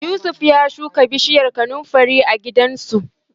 Yusuf ya shuka bishiyar kanunfari a gidansu.